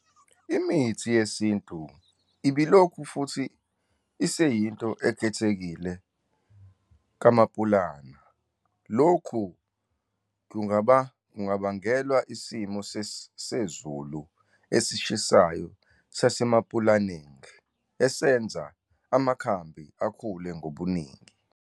Imithi yesintu ibilokhu futhi iseyinto ekhethekile kaMapulana. Lokhu kungabangelwa isimo sezulu esishisayo saseMapulaneng esenza amakhambi akhule ngobuningi.